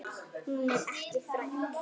Hún er ekki þræll.